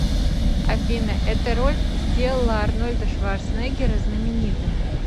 афина эта роль сделала арнольда шварценеггера знаменитым